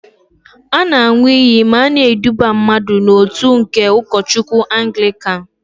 A na-an̄ụ iyi ma a na-eduba mmadụ n'òtù ndị ụkọchukwu Angịkan.